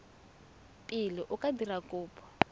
pele o ka dira kopo